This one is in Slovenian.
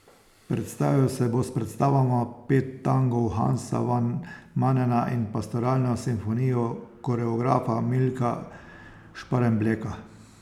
Predstavil se bo s predstavama Pet tangov Hansa van Manena in Pastoralno simfonijo koreografa Milka Šparembleka.